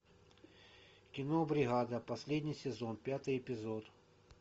кино бригада последний сезон пятый эпизод